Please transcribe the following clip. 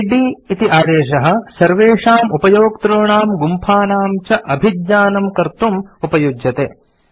इद् इति आदेशः सर्वेषाम् उपयोक्तॄणां गुम्फानां च अभिज्ञानम् कर्तुम् उपयुज्यते